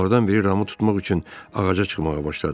Onlardan biri Ramı tutmaq üçün ağaca çıxmağa başladı.